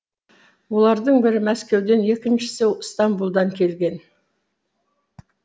олардың бірі мәскеуден екіншісі стамбулдан келген